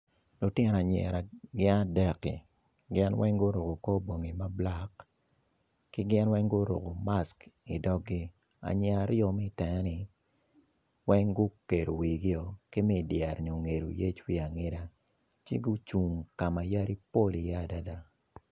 Lutino anyira gin adeki gin weng guruko kor bongi mablacki ki ginweng guruko mask i dogi anyira aryo me i tenge ni weng gukedo wigi o, ki me idyere ni ongedo yec wiye angeda, ci gucung kama yadi pol i ye adada.